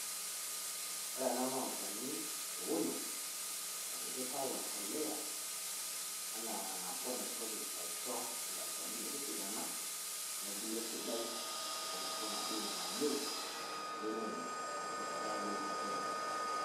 Ore ena noo olchaani ounoo opikitao o mboleo ena naboo nantoki achoo olchaani metisidana. Nepulee sidai eno maadini nayeu sii ninye te rishataa ebulunoto enye.